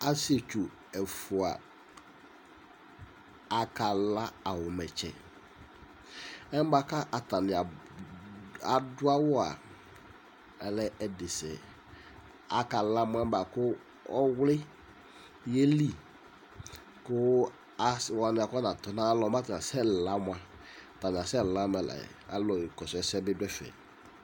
asietsʊ dini ɛfua akala awumɛ tsɛ ɛnɛ atani adu awua alɛ ɛdisɛ akala mu alɛna yɛ ɔwli yeli ku asiwa atɔ nayalɔ kasɛ lamʊa akasɛ lamɛla alu kɔsu ɛsɛ bi du ɛfɛ